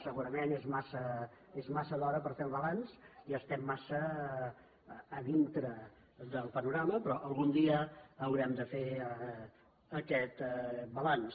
segurament és massa d’hora per fer el balanç i estem massa a dintre del panorama però algun dia haurem de fer aquest balanç